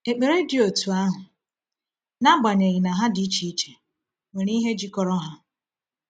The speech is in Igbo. Ekpere dị otú ahụ, n’agbanyeghị na ha dị iche iche, nwere ihe jikọrọ ha.